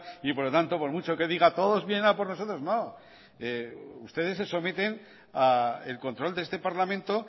y por lo tanto por mucho que diga todos vienen a por nosotros no ustedes se someten al control de este parlamento